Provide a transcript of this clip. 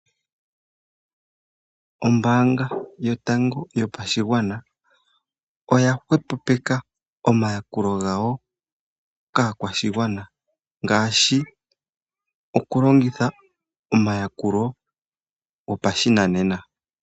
Ombaanga yotango yopashigwana oya hwepopeke omayakulo gawo kaakwashigwana ngaashi okulongitha omayakulo gopashinanena.